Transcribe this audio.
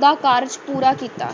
ਦਾ ਕਾਰਜ ਪੂਰਾ ਕੀਤਾ।